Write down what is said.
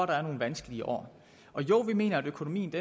der er nogle vanskelige år og jo vi mener at økonomien